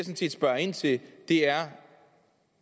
set spørger ind til er